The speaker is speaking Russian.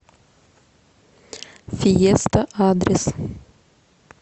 фиеста адрес